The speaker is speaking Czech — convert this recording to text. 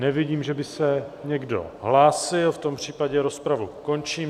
Nevidím, že by se někdo hlásil, v tom případě rozpravu končím.